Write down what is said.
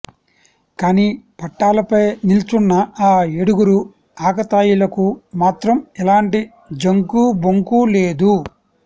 కానీ పట్టాలపై నిల్చున్న ఆ ఏడుగురు ఆకతాయిలకు మాత్రం ఎలాంటి జంకూ బొంకూ లేదు